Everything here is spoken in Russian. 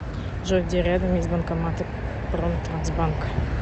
джой где рядом есть банкоматы промтрансбанка